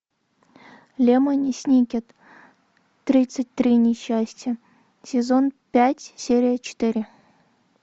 лемони сникет тридцать три несчастья сезон пять серия четыре